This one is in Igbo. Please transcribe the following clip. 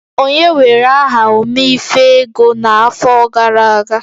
Onye were aha Ome-ife-ego n'afọ gara aga?